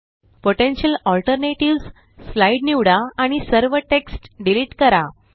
potential alternatives slide निवडा आणि सर्व टेक्स्ट डिलीट करा